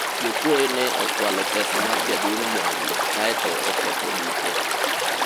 jokwoye ne okwalo pesa mar jaduong' Mwangi kaeto oketho duke